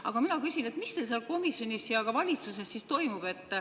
Aga mina küsin, mis teil seal komisjonis ja ka valitsuses siis toimub.